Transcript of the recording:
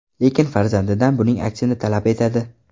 Lekin farzandidan buning aksini talab etadi.